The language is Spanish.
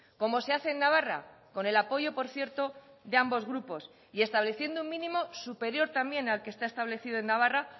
como se hace en navarra con el apoyo por cierto de ambos grupos y estableciendo un mínimo superior también al que está establecido en navarra